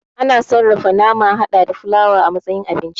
A na sarrafa nama hada da fulawa a matsayin abinci